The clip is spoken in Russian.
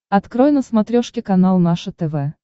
открой на смотрешке канал наше тв